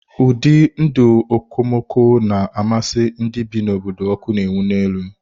Ụdị ndụ okomoko na-amasị ndị bi n'obodo ọkụ na-enwu n'elu.